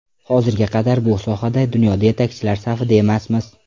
Hozirga qadar bu sohada dunyoda yetakchilar safida emasmiz.